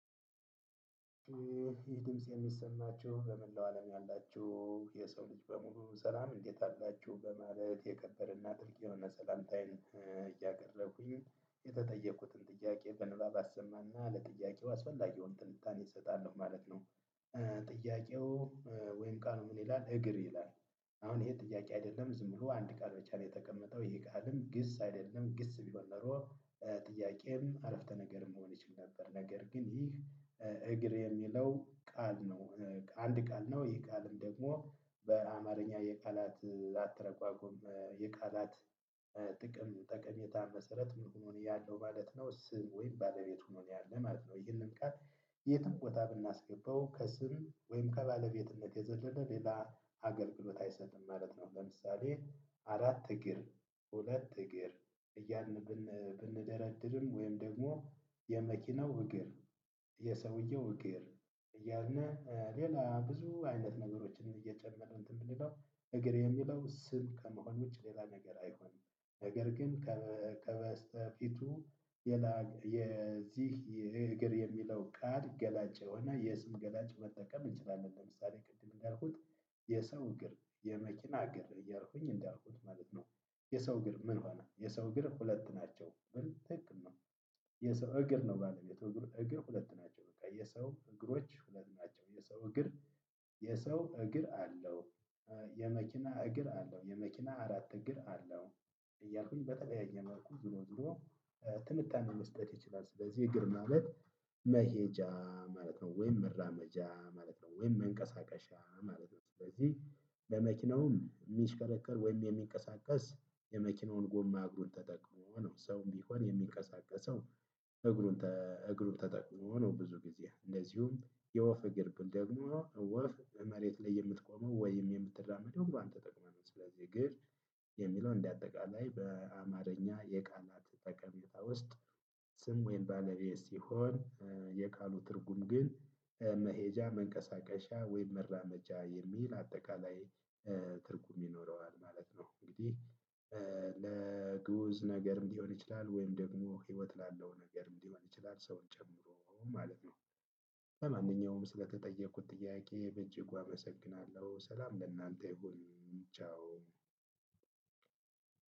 ይህ ድምጽ የሚሰማችሁ በመላው አለም ያላችሁ የሰው ልጅ በሙሉ ሰላም እንዴት አላችሁ በማለት የከበረና ትልቅ የሆነ ሰላምታዬን እያደረኩኝ የተጠየኩትን ጥያቄ በንባብ አሰማና ለጥያቄው አስፈላጊውን ትንታኔ እሰጣለሁ ማለት ነው። ጥያቄው ወይም ቃሉ ምን ይላል? እግር ይላል። አሁን ይሄ ጥያቄ አይደለም ዝም ብሎ አንድ ቃል ብቻ ነው የተቀመጠው ይሄ ቃልም ግስ አይደለም ግስ ቢሆን ኖሮ ጥያቄም አረፍተ ነገርም መሆን ይችል ነበር። ነገር ግን ይህ እግር የሚለው ቃል ነው አንድ ቃል ነው። ይህ ቃልም ደግሞ በአማርኛ የቃላት አተረጓጎም የቃላት ጥቅም ጠቀሜታ መሰረት ምን ሆኖ ነው ያለው ማለት ነው? ስም ወይም ባለቤት ሁኖ ነው ያለ ማለት ነው። ይህንን ቃል የትም ቦታ ብናስገባው ከስም ወይም ከባለቤትነት የዘለለ ሌላ አገልግሎት አይሰጥም ማለት ነው። ለምሳሌ አራት እግር ሁለት እግር እያልን ብንደረድርም ወይም ደግሞ የመኪናው እግር የሰውየው እግር እያን ሌላ ብዙ አይነት ነገሮችን እየጨመርን እንትን ብንለው እግር የሚለው ስም ከመሆን ውጪ ሌላ ነገር አይሆንም። ነገር ግን ከበፊቱ የዚህ የእግር የሚለው ቃል ገላጭ የሆነ የስም ገላጭ መጠቀም እንችላለን። ለምሳሌ ቅድም እንዳልኩት የሰው እግር የመኪና እግር እያልኩኝ እንዳልኩት ማለት ነው። የሰው እግር ምን ሆነ የሰው እግር ሁለት ናቸው ብል ትክክል ነው። የሰው እግር ነው ባለቤቱ እግር ሁለት ናቸው በቃ የሰው እግሮች ሁለት ናቸው የሰው እግር የሰው እግር አለው። የመኪና እግር አለው የመኪና አራት እግር አለው። እያልኩኝ በተለያየ መልኩ ዝሮ ዝሮ ትንታኔ መስጠት ይችላል። ስለዚህ እግር ማለት መሄጃ ማለት ነው ወይም መራመጃ ማለት ነው ወይም መንቀሳቀሻ ማለት ነው። ስለዚህ በመኪናውም ሚሽከረከር ወይም የሚንቀሳቀስ የመኪናውን ጎማ እግሩን ተጠቅሞ ነው ሰውም ቢሆን የሚቀሳቀሰው። እግሩን እግሩን ተጠቅሞ ነው ብዙ ጊዜ እንደዚሁም የወፍ እግር ብል ደግሞ ወፍ መሬት ላይ የምትቆመው ወይም የምትራመደው ደግሞ እግሯን ተጠቅማ ነው። ስለዚህ እግር የሚለው እንደ አጠቃላይ በአማርኛ የቃላት ጠቀሜታ ውስጥ ስም ወይን ባለቤት ሲሆን የቃሉ ትርጉም ግን መሄጃ መንቀሳቀሻ ወይም መራመጃ የሚል አጠቃላይ ትርጉም ይኖረዋል ማለት ነው። እንግዲህ ለግዑዝ ነገር ሊሆን ይችላል ወይም ደግሞ ህይወት ላለው ነገር ሊሆን ይችላል ሰውን ጨምሮ ማለት ነው። ለማንኛውም ስለተጠየኩት ጥያቄ በእጅጉ አመሰግናለሁ ሰላም ለእናንተ ይሁን ቻው።